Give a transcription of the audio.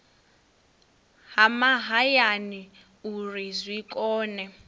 ha mahayani uri zwi kone